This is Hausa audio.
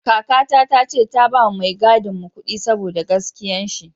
Kaka ta ce ta ba ma mai gadin mu kudi saboda gaskiyan shi